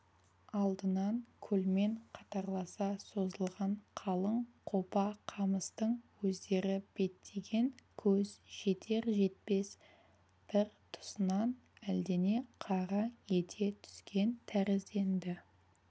алдынан көлмен қатарласа созылған қалың қопа қамыстың өздері беттеген көз жетер-жетпес бір тұсынан әлдене қараң ете түскен тәрізденді